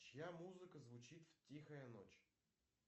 чья музыка звучит в тихая ночь